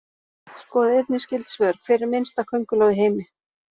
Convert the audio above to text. Skoðið einnig skyld svör: Hver er minnsta könguló í heimi?